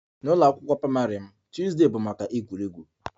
N'ụlọ akwụkwọ praịmarị m, Tuesday bụ maka egwuregwu